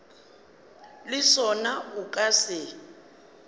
le sona o ka se